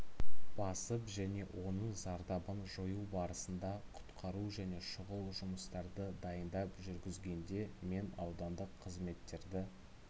басып және оның зардабын жою барысында құтқару және шұғыл жұмыстарды дайындап жүргізгенде мен аудандық қызметтері